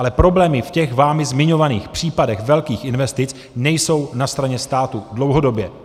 Ale problémy v těch vámi zmiňovaných případech velkých investic nejsou na straně státu dlouhodobě.